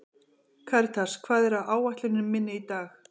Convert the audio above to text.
Karítas, hvað er á áætluninni minni í dag?